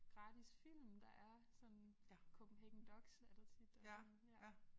Gratis film der er sådan CPH:DOX er der tit og sådan noget ja